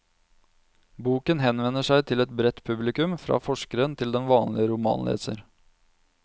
Boken henvender seg til et bredt publikum, fra forskeren til den vanlige romanleser.